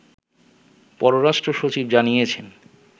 পররাষ্ট্র সচিব জানিয়েছেন